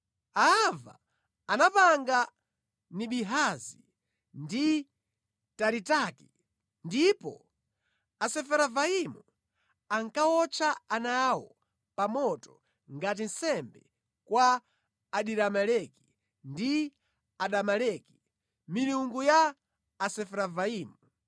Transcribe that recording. Aava anapanga Nibihazi ndi Taritaki, ndipo Asefaravaimu ankawotcha ana awo pa moto ngati nsembe kwa Adirameleki ndi Anameleki, milungu ya Asefaravaimu.